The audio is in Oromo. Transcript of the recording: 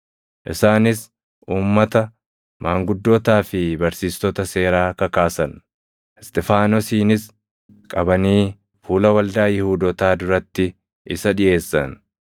Isaanis uummata, maanguddootaa fi barsiistota seeraa kakaasan. Isxifaanosiinis qabanii fuula waldaa Yihuudootaa duratti isa dhiʼeessan.